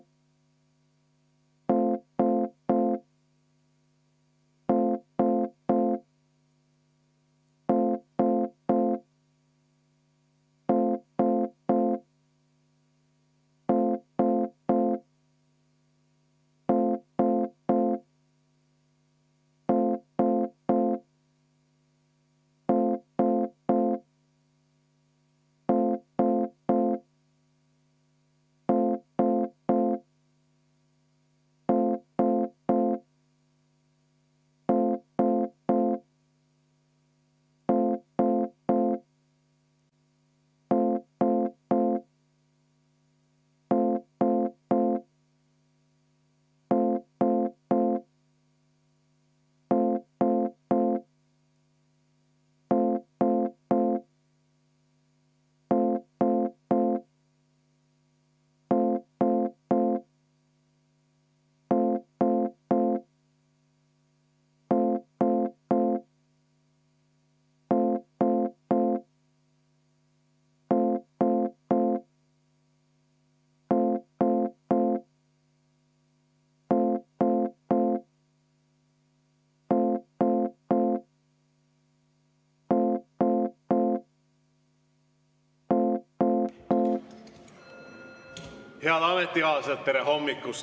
Head ametikaaslased, tere hommikust!